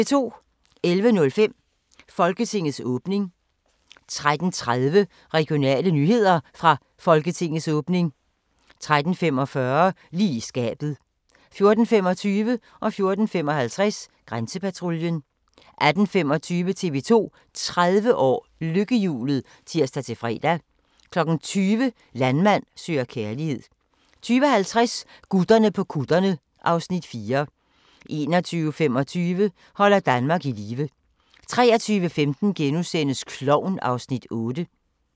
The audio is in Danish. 11:05: Folketingets åbning 13:30: Regionale nyheder – fra Folketingets åbning 13:45: Lige i skabet 14:25: Grænsepatruljen 14:55: Grænsepatruljen 18:25: TV 2 30 år: Lykkehjulet (tir-fre) 20:00: Landmand søger kærlighed 20:50: Gutterne på kutterne (Afs. 4) 21:25: Holder Danmark i live 23:15: Klovn (Afs. 8)*